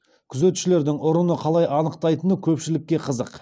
күзетшілердің ұрыны қалай анықтайтыны көпшілікке қызық